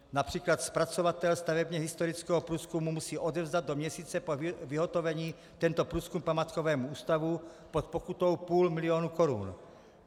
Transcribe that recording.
Například zpracovatel stavebně historického průzkumu musí odevzdat do měsíce po vyhotovení tento průzkum památkovému ústavu pod pokutou půl milionu korun.